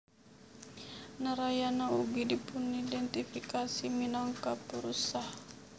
Narayana ugi dipunidéntifikasi minangka Purusha